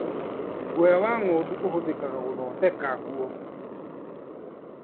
Guoya wa ng'ondu ũhũthĩkaga gũthondeka nguo.